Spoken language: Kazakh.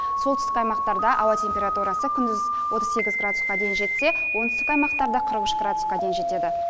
солтүстік аймақтарда ауа температурасы күндіз отыз сегіз градусқа дейін жетсе оңтүстік аймақтарда қырық үш градусқа дейін жетеді